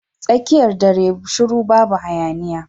Tsakiyar dare shiru babu hayaniya.